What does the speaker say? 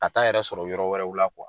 Ka taa yɛrɛ sɔrɔ yɔrɔ wɛrɛw la